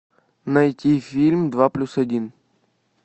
найти фильм два плюс один